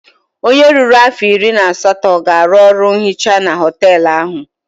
Onye ruru afọ iri na asatọ ga-arụ ọrụ onye nhicha na họteelụ ahụ.